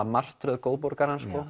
martröð